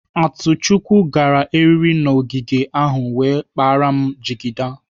Atuchukwu gara eriri n'ọgịga ahụ wee kpara m jigida.